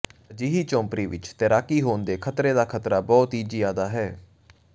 ਅਜਿਹੀ ਝੌਂਪੜੀ ਵਿਚ ਤੈਰਾਕੀ ਹੋਣ ਦੇ ਖ਼ਤਰੇ ਦਾ ਖ਼ਤਰਾ ਬਹੁਤ ਜ਼ਿਆਦਾ ਹੈ